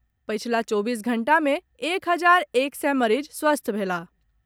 पछिला चौबीस घंटा में एक हजार एक सय मरीज स्वस्थ भेलाह।